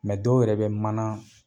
Mɛ dɔw yɛrɛ be manan